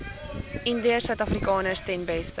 indiërsuidafrikaners ten beste